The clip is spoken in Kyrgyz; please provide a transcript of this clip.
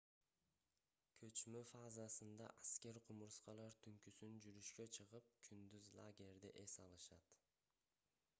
көчмө фазасында аскер кумурскалар түнкүсүн жүрүшкө чыгып күндүз лагерде эс алышат